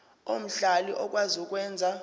omhlali okwazi ukwenza